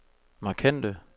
markante